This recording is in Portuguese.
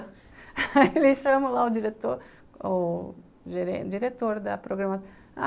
aí ele chama lá o diretor, o gerente, o diretor da programação.